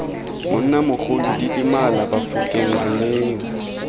monnamogolo didimalang bafokeng re neyeng